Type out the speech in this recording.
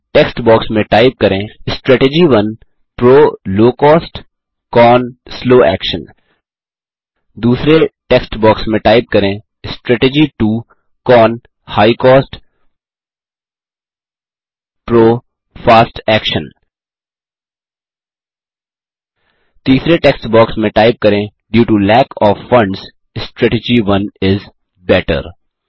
पहले text box में type करें160 strategy 1 PRO low cost CON slow action दूसरे टेक्स्ट बॉक्स में टाइप करें160 strategy 2 CON high cost PRO fast action तीसरे टेक्स्ट बॉक्स में टाइप करें160 due to lack O F funds strategy 1 is better